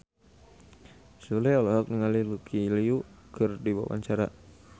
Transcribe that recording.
Sule olohok ningali Lucy Liu keur diwawancara